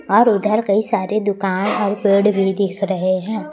और उधर कई सारे दुकान और पेड़ भी देख रहे हैं।